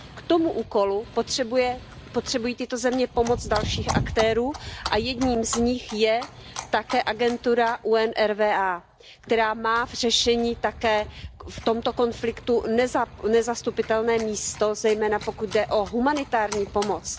K tomu úkolu potřebují tyto země pomoc dalších aktérů a jedním z nich je také agentura UNRWA, která má v řešení tohoto konfliktu nezastupitelné místo, zejména pokud jde o humanitární pomoc.